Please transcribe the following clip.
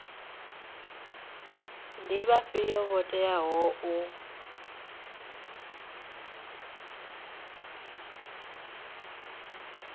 ndi vhafhio vho teaho u